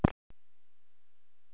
Nú skildi ég hvað átt var við.